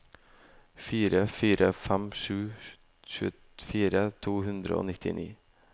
fire fire fem sju tjuefire to hundre og nittini